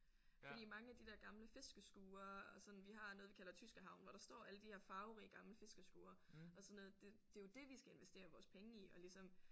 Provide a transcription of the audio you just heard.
Fordi mange af de der gamle fiskeskurer og sådan vi har noget vi kalder tyskerhavnen hvor der står alle de her farverige gamle fiskeskurer og sådan noget det det er jo det vi skal investere vores penge i og ligesom